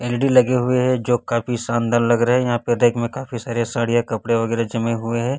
L E D लगे हुए हैं जो काफी शानदार लग रहे हैं यहां रैक में काफी सारे साड़ियां कपड़े वगैरा जमे हुए है।